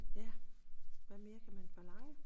Ja hvad mere kan man forlange